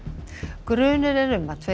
grunur er um að tveir